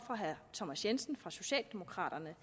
af herre thomas jensen fra socialdemokraterne